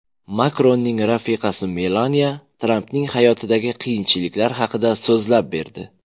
Makronning rafiqasi Melaniya Trampning hayotidagi qiyinchiliklar haqida so‘zlab berdi.